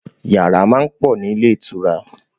Yàrá máa ń pọ̀ nílé ìtura